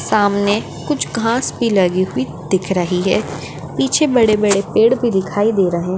सामने कुछ घास भी लगी हुई दिख रही है। पीछे बड़े बड़े पड़े पेड़ भी दिखाई दे रहे --